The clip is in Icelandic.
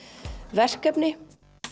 verkefni